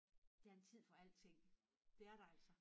Der er en tid for alting det er der altså